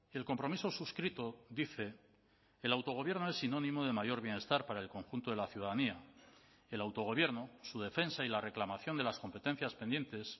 el compromiso suscrito dice el autogobierno es sinónimo de mayor bienestar para el conjunto de la ciudadanía el autogobierno su defensa y la reclamación de las competencias pendientes